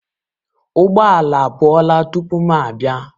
Ụgbọ ala apụọla tupu m abịa